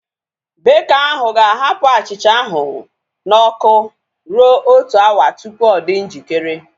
Beka ahu ga-ahapụ achịcha ahu na ọkụ rue otu awa tupu ọ dị njikere